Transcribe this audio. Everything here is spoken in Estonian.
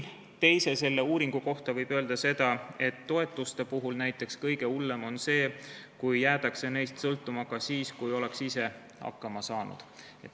Teise uuringu kohta võib öelda, et toetuste puhul on kõige hullem see, kui jäädakse neist sõltuma ka siis, kui võiks ise hakkama saada.